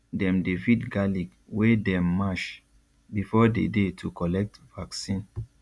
dem dey feed garlic wey dem mash before the day to collect vaccine